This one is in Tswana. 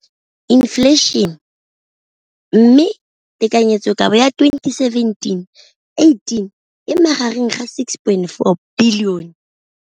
Infleišene, mme tekanyetsokabo ya 2017, 18, e magareng ga R6.4 bilione.